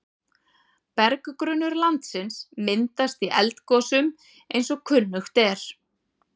Berggrunnur landsins myndast í eldgosum eins og kunnugt er.